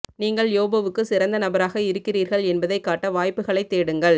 நீங்கள் யோபுவுக்கு சிறந்த நபராக இருக்கிறீர்கள் என்பதைக் காட்ட வாய்ப்புகளைத் தேடுங்கள்